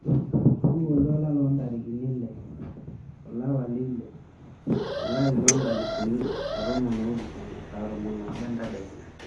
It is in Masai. tipika oltuala loo intarikini iile olapa leile olari loo inkalifuni are oo ton oopishana saa tomon oobo entadekenya